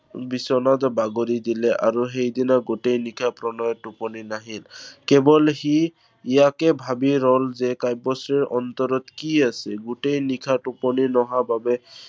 বিছনাত বাগৰি দিলে আৰু সেইদিনা গোটেই নিশা প্ৰণয়ৰ টোপনি নাহিল। কেৱল সি ইয়াকে ভাবি ৰল যে কাব্যশ্ৰীৰ অন্তৰত কি আছে? গোটেই নিশা টোপনি নহা বাবে